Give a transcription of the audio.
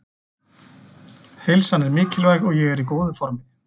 Heilsan er mikilvæg og ég er í góðu formi.